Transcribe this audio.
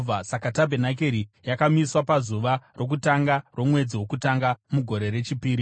Saka tabhenakeri yakamiswa pazuva rokutanga romwedzi wokutanga mugore rechipiri.